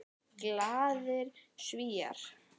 Glaðir Svíar.